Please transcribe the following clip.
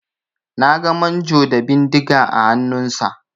Na ga manjo da bindiga a hannunsa.